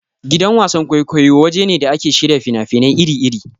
Gidan wasan-kwaikwayo waje ne da ake shirya fina-finai iri-iri.